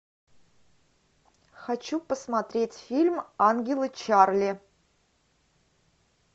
хочу посмотреть фильм ангелы чарли